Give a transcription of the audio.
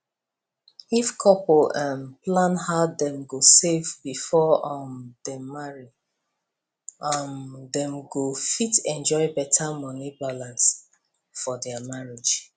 if couple um plan how dem go save before um dem marry um dem go fit enjoy better money balance for their marriage